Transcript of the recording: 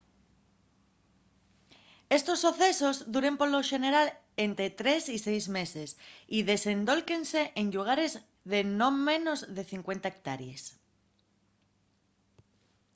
estos socesos duren polo xeneral ente tres y seis meses y desendólquense en llugares de non menos de 50 hectárees